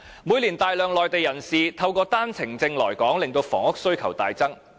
每年有大量內地人士透過單程證來港，令房屋需求大增。